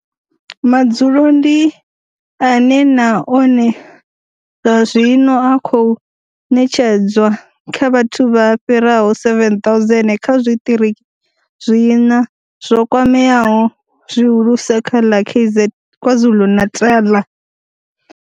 Madzulo ndi ane na one zwa zwino a khou ṋetshedzwa kha vhathu vha fhiraho 7 000 kha zwiṱiriki zwiṋa zwo kwameaho zwihulusa kha ḽa KwaZulu-Natal.